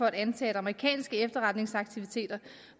at antage at amerikanske efterretningsaktiviteter